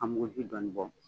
A muguji dɔɔnin bɔ.